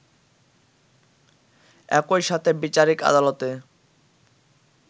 একই সাথে বিচারিক আদালতে